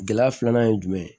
Gɛlɛya filanan ye jumɛn ye